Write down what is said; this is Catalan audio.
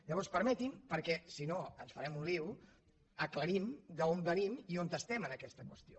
llavors permeti’m perquè si no ens farem un lío aclarim d’on venim i on estem en aquesta qüestió